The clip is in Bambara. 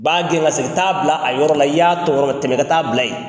Ba gɛn ka segin t'a bila a yɔrɔ la i y'a tɔmɔ yɔrɔ min na tɛmɛ i ka taa bila yen.